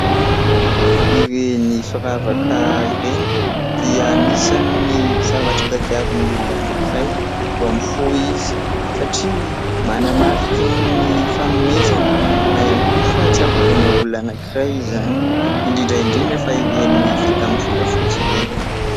Ireny firavaka ireny dia anisany'ny zavatra tadiavin'ny olona anankiray vao mifoha izy satria manamarika ny fanomezana na ihany koa fahatsiarovana olona anankiray izany ; indrindra indrindra fa ireny vita amin'ny volafotsy ireny.